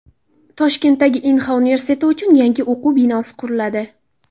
Toshkentdagi Inha universiteti uchun yangi o‘quv binosi quriladi.